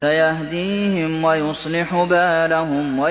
سَيَهْدِيهِمْ وَيُصْلِحُ بَالَهُمْ